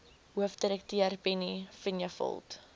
hoofdirekteur penny vinjevold